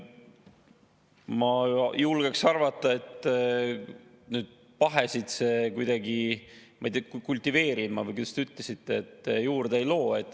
Ma julgeks arvata, et pahesid see kuidagi – ma ei tea, "kultiveerima" või kuidas ütlesite – juurde ei loo.